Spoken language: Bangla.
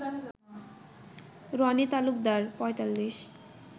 রনি তালুকদার ৪৫